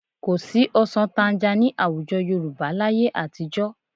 Kò sí ọsàn tanga ní àwùjọ Yorùbá láyé àtijọ́